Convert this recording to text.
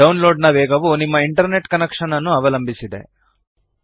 download ನ ವೇಗವು ನಿಮ್ಮ ಇಂಟರ್ನೆಟ್ ಕನೆಕ್ಷನ್ ನ್ನು ಅವಲಂಬಿಸಿದೆ